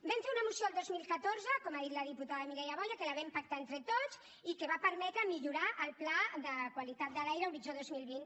vam fer una moció el dos mil catorze com ha dit la diputada mireia boya que la vam pactar entre tots i que va permetre millorar el pla de qualitat de l’aire horitzó dos mil vint